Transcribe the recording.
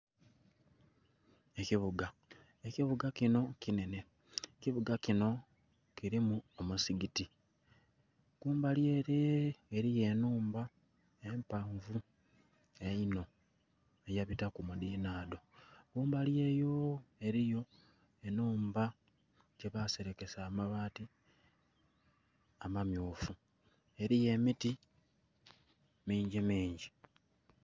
Ekibuga, ekibuga kino kinhenhe kibuga kino kirimu omusigiti kumbali ere.. eriyo enhumba empanvu einho eyabitaku mudhinhadho kumbali eyo.. eriyo enhumba lyebasereke amabaati amammyufu eriyo emiti mingi mingi.